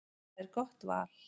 Það er gott val.